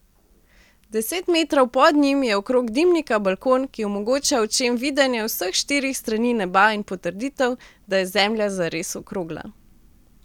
Deset metrov pod njim je okrog dimnika balkon, ki omogoča očem videnje vseh štirih strani neba in potrditev, da je zemlja zares okrogla.